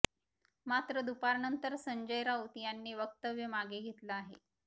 मात्र दुपारनंतर संजय राऊत यांनी वक्तव्य मागे घेतलं आहे